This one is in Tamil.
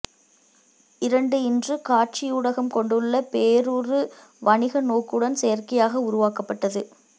இரண்டு இன்று காட்சியூடகம் கொண்டுள்ள பேருரு வணிகநோக்குடன் செயற்கையாக உருவாக்கப்பட்டது